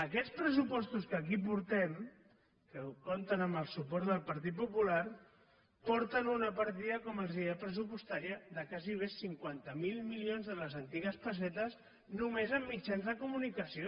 aquests pressupostos que aquí portem que compten amb el suport del partit popular porten una partida com els deia pressupostària de gairebé cinquanta miler milions de les antigues pessetes només en mitjans de comunicació